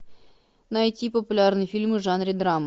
найти популярные фильмы в жанре драма